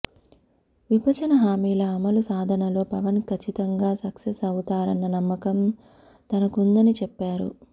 విభజన హామీల అమలు సాధనలో పవన్ కచ్చితంగా సక్సెస్ అవుతారన్న నమ్మకం తనకుందని చెప్పారు